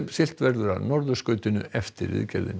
siglt verður að norðurskautinu eftir viðgerðina